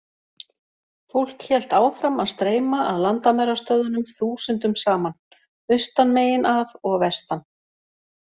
Fólk hélt áfram að streyma að landamærastöðvunum þúsundum saman, austan megin að og vestan.